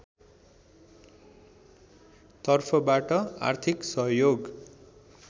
तर्फबाट आर्थिक सहयोग